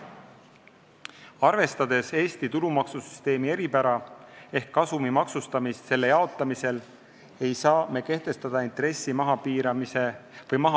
Arvestades Eesti tulumaksusüsteemi eripära ehk kasumi maksustamist selle jaotamisel, ei saa me kehtestada intressi mahaarvamise piirangut.